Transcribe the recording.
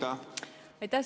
Aitäh!